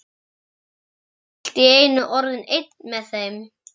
Ég var allt í einu orðinn einn með þeim.